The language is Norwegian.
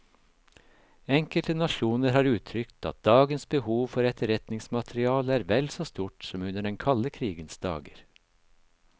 Enkelte nasjoner har uttrykt at dagens behov for etterretningsmateriale er vel så stort som under den kalde krigens dager.